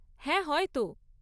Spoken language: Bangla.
হ্যাঁ, হয়তো।